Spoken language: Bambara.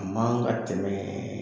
A man ka tɛmɛ